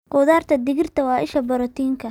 Khudaarta digirta waa isha borotiinka.